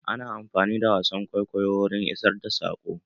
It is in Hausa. Ana amfani da wasan kwaikwayo wurin isar da saƙo.